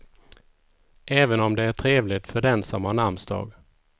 Även om det är trevligt för den som har namnsdag.